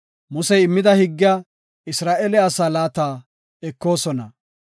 Musey immida higgiya Isra7eele asaa laata ekoosona.